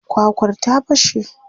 Kwakwar ta fashe.